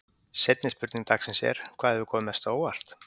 Seinni spurning dagsins er: Hvað hefur komið mest á óvart?